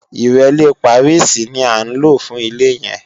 Ìrẹ́lé Pàríìsì ní à ń lò fún ilé yẹn